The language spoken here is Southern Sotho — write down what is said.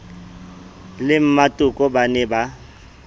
le mmatoko ba ne ba